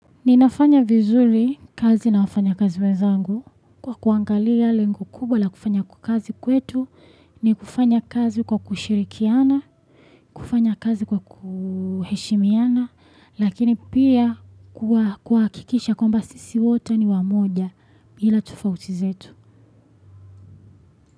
Ninafanya vizuri kazi na wafanyakazi wenzangu kwa kuangalia lengo kubwa la kufanya kazi kwetu ni kufanya kazi kwa kushirikiana kufanya kazi kwa kuheshimiana lakini pia kuhakikisha kwamba sisi wote ni wamoja bila tofauti zetu.